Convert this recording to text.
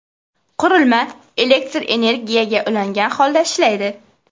Qurilma elektr energiyaga ulangan holda ishlaydi.